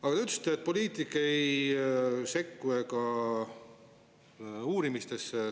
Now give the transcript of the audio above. Aga te ütlesite, et poliitik ei sekku uurimistesse.